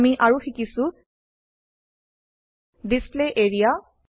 আমি আৰু শিকিছো ডিসপ্লে এৰিয়া